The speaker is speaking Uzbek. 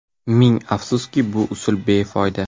Ming afsuski, bu usul befoyda.